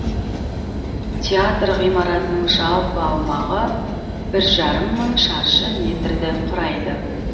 театр ғимаратының жалпы аумағы бір жарым мың шаршы метрді құрайды